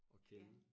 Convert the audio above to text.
At kende